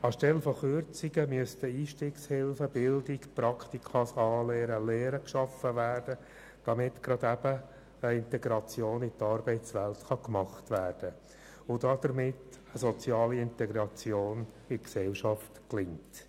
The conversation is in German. Anstelle von Kürzungen müssten Einstiegshilfen, Bildung, Praktika, Anlehren und Lehren geschaffen werden, damit gerade eben eine Integration in die Arbeitswelt erfolgen werden kann und eine soziale Integration in die Gesellschaft gelingt.